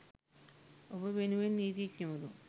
ඔබ වෙනුවෙන් නීතිඥවරුන්